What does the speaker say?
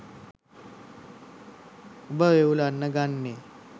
ඔබ වෙවුලන්න ගන්නේ